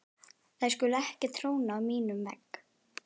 Þær skulu ekki tróna á mínum vegg.